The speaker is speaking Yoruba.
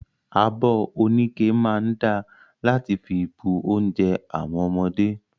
Abi oníke máa da láti fi bu ounjẹ àwọn ọmọdé.